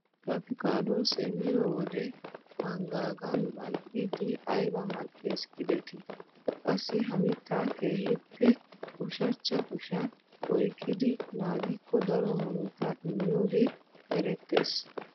Apikadosee miyoo wode manggaagan mal"idi ayba mal"ees gidetii! qassi ha mittaa keehippe ushshachcha kushiyaan oyqqidi naagikko daro murutaa immiyooge erettees!